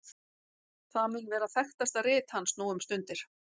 það mun vera þekktasta rit hans nú um stundir